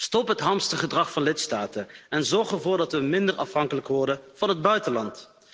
Stop het hamstergedrag van lidstaten en zorg ervoor dat we minder afhankelijk worden van het buitenland.